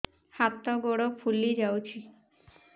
ହାତ ଗୋଡ଼ ଫୁଲି ଯାଉଛି